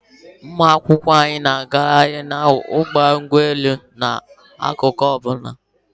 Ụmụ akwụkwọ anyị na-aga mkpahari na ọdụ ụgbọelu kwa aro ọbụna